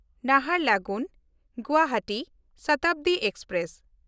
ᱱᱟᱦᱟᱨᱞᱟᱜᱩᱱ–ᱜᱩᱣᱟᱦᱟᱴᱤ Shatabdi express